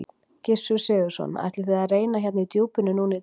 Gissur Sigurðsson: Ætlið þið að reyna hérna í djúpinu núna í dag?